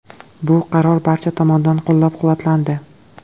Bu qaror barcha tomonidan qo‘llab-quvvatlandi.